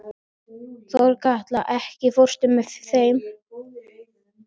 Þorkatla, ekki fórstu með þeim?